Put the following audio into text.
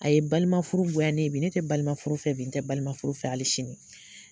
A ye balima furu goya ne ye bi, ne tɛ balima furu fɛ bi, n tɛ balima furu fɛ hali sini.